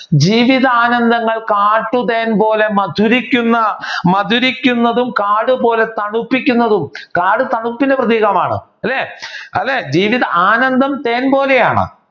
ജീവിതാനന്ദങ്ങൾ കാറ്റു തേൻ പോലെ മധുരിക്കുന്ന മധുരിക്കുന്നതും കാടുപോലെ തണുപ്പിക്കുന്നതും കാട് തണുപ്പിന്റെ പ്രതീകമാണ്. അല്ലേ അതെ ജീവിതാനന്ദം തേൻ പോലെ ആണ്